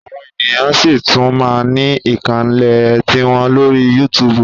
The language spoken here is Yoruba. Àwọn ènìyàn ṣí tún máa ní ìkànnlé tiwọn lórí yútúbú